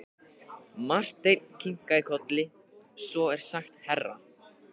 Marteinn kinkaði kolli: Svo er sagt herra.